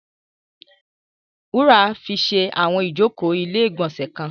Wúrà fi ṣe àwọn ìjókòó ilé-ìgbọ̀nsẹ̀ kan.